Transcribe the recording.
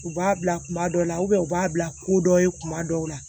U b'a bila kuma dɔw la u b'a bila ko dɔ ye kuma dɔw la